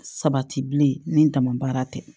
Sabati bilen ni ntamabaara tɛ